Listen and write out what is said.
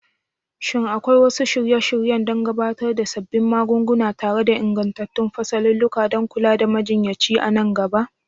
Shin akwai wasu shirye-shiryen gabatar da sabbin magunguna tare da ingantattun fasalulluka don kula da majinyaci a nan gaba?